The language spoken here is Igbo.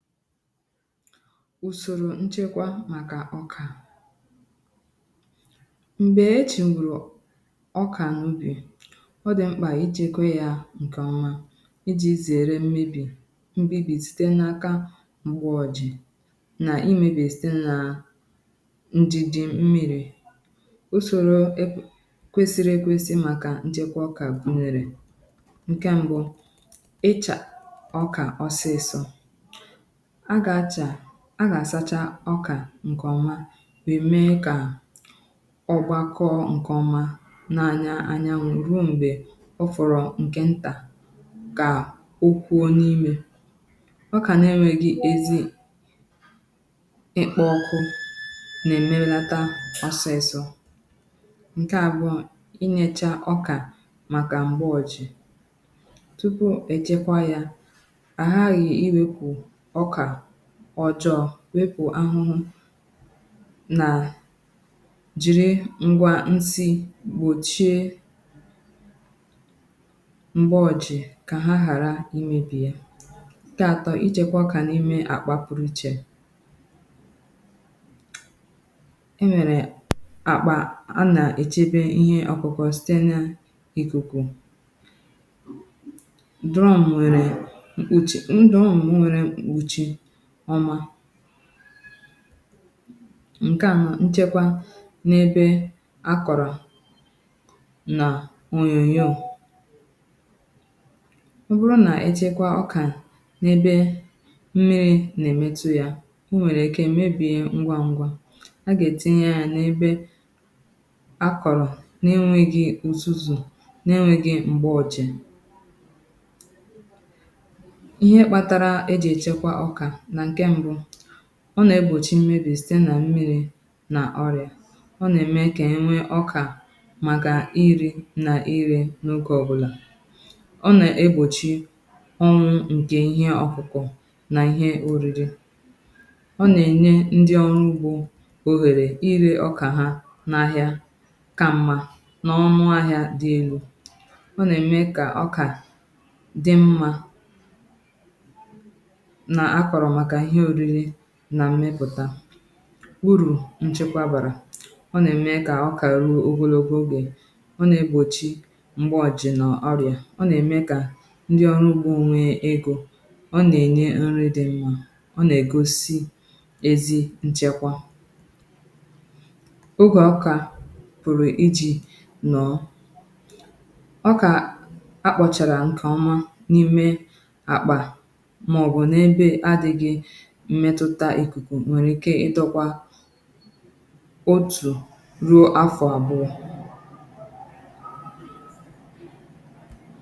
ùsòrò nchekwa màkà ọkà m̀gbè eʧɪ́ gwùrù ọkà n’ubì ọ dị̀ mkpà ichėgwo ya ǹkèọmà ijì zèrè mmebì mmebì site n’aka m̀gbè ọ̀jì nà imėbì site nà ǹjìjì mmìrì ùsòrò kwèsìrì ekwėsi̇ màkà nchekwa ọkà nèrè ǹkè m̀gbè ịchà ọkà ọ̀sịsọ a gà-àsacha ọkà ǹkèọmà wèe mee kà ọgbakọ ǹkèọmà nà-anya anya ruo m̀gbè ọ fụ̀rụ̀ ǹkè ntà kà okwu n’imė ọkà n’ere gị̇ ezi ịkpọ ọkụ nà-èmelata osisor ǹkè abụọ inyechaa ọkà màkà m̀gbè ojì tupu èjekwa ya wepù ahụhụ nà jìri ngwà nsị gbòchie m̀gbè òjì kà ha ghàra imėbì ya keatọ ichėkwa kà n’ime àkpà pụrụ ichè e nwèrè àkpà a nà-èchebe ihe ọkụkụ site nà ìkùkù ọ̀mà nke à mà nchekwa n’ebe akọ̀rọ̀ nà onyonyo ọ bụrụ nà echekwa ọkà n’ebe mmìrì nà-èmetù ya o nwèrè èke mebìe ngwa ngwa a gà-ètinye a n’ebe akọ̀rọ̀ nà enwėghi̇ ùzùzù nà enwėghi̇ m̀gbè ọ̀jì ọ nà-egbòchi mmebì site nà mmìrì nà ọrịà ọ nà-ème kà enwe ọkà màkà iri nà iri n’okė ọbụlà ọ nà-egbòchi ọnwụ̇ nkè ihe ọkụkụ nà ihe òriri ọ nà-ènye ndi ọrụ ugbȯ òhèrè iri ọkà ha n’ahìà ka mmà n’ọnụ ahịa dị elu ọ nà-ème kà ọkà dị mmȧ nà mmepụ̀ta bụrụ̀ ǹchekwa bàrà ọ nà-ème kà ọ kà ru ogologo ogè ọ nà-ègbòchi mgbọ̀jì nọ̀ ọrịà ọ nà-ème kà ndi ọrụ ugbȯ nwe egȯ ọ nà-ènye nri di mmȧ ọ nà-ègosi ezi nchekwa ogè ọkà pụ̀rụ̀ iji̇ nọ̀ ọkà akpọ̀chàrà ǹkèọmà n’ime àkpà mmẹtụta ikuku nwẹ̀rẹ̀ ike ịtọ̇kwȧ otù ruo afọ abụọ